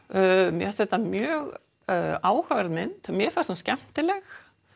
mér fannst þetta mjög áhugaverð mynd mér fannst hún skemmtileg